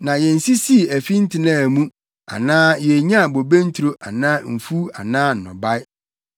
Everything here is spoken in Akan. na yensisii afi ntenaa mu anaa yennyaa bobe nturo anaa mfuw anaa nnɔbae.